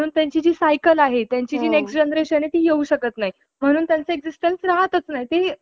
त्याकाळी चौथीची परीक्षा आवश्यक मानली जात असे. या परीक्षेत भाषेच्या विषयाला दुय्यम स्थान असे. कविता तर ना~ नव्हत्यातच.